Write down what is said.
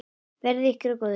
Verði ykkur að góðu.